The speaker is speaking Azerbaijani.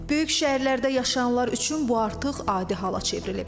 Böyük şəhərlərdə yaşayanlar üçün bu artıq adi hala çevrilib.